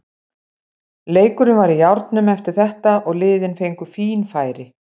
Leikurinn var í járnum eftir þetta og liðin fengu fín færi.